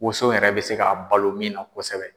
wonso yɛrɛ bɛ se ka balo min na kosɛbɛ.